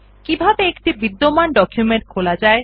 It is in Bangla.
কিভাবে একটি বিদ্যমান ডকুমেন্ট খোলা যায়